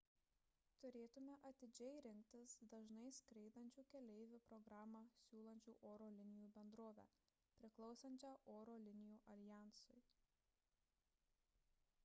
turėtumėte atidžiai rinktis dažnai skraidančių keleivių programą siūlančią oro linijų bendrovę priklausančią oro linijų aljansui